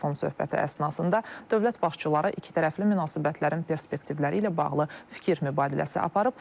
Telefon söhbəti əsnasında dövlət başçıları ikitərəfli münasibətlərin perspektivləri ilə bağlı fikir mübadiləsi aparıb.